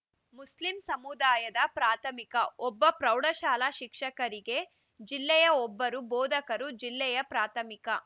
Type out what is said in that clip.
Muslim ಸಮುದಾಯದ ಪ್ರಾಥಮಿಕ ಒಬ್ಬ ಪ್ರೌಢಶಾಲಾ ಶಿಕ್ಷಕರಿಗೆ ಜಿಲ್ಲೆಯ ಓಬ್ಬರು ಬೋಧಕರು ಜಿಲ್ಲೆಯ ಪ್ರಾಥಮಿಕ